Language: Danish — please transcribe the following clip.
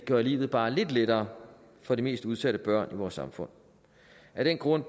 gøre livet bare lidt lettere for de mest udsatte børn i vores samfund af den grund